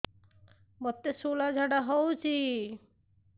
ମୋତେ ଶୂଳା ଝାଡ଼ା ହଉଚି